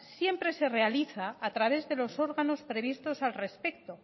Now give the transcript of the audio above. siempre se realiza a través de los órganos previstos al respecto